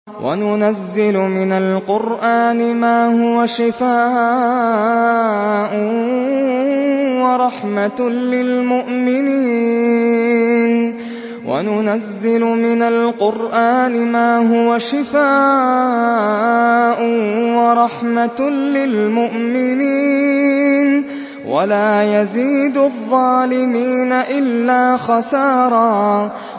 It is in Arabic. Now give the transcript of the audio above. وَنُنَزِّلُ مِنَ الْقُرْآنِ مَا هُوَ شِفَاءٌ وَرَحْمَةٌ لِّلْمُؤْمِنِينَ ۙ وَلَا يَزِيدُ الظَّالِمِينَ إِلَّا خَسَارًا